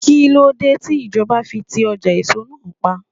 Kíló dé tí ìjọba fi ti ọjà èso náà pa?